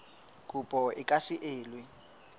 kopo e ka se elwe